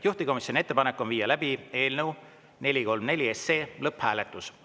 Juhtivkomisjoni ettepanek on viia läbi eelnõu 434 lõpphääletus.